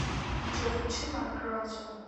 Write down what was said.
джой включи марк ронсон